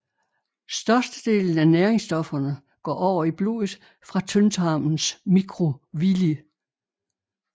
Størstedelen af næringsstofferne går over i blodet fra tyndtarmens mikrovilli